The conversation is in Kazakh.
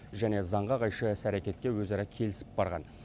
және заңға қайшы іс әрекетке өзара келісіп барған